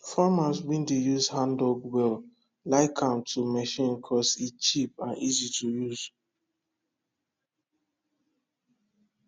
farmers wey dey use handdug wells like am to machine cause e cheap and easy to use